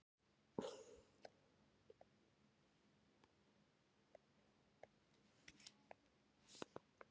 Natasja, hvað er jörðin stór?